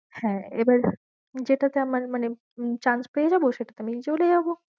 হ্যাঁ এবার যেটাতে আমার মানে chance পেয়ে যাবো সেটাতে আমি চলে যাবো।